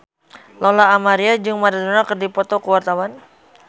Lola Amaria jeung Maradona keur dipoto ku wartawan